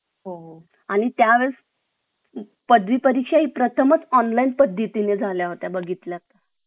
त्या post संबधित आपला अनुभव आणि ज्ञान सांगा. तुमचे नाव, पात्रता, शैक्षणिक तपशील सांगा. आपण ज्या मुलाखतीसाठी जात आहात. त्या company बद्दल